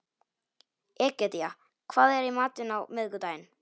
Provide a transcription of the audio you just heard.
Egedía, hvað er í matinn á miðvikudaginn?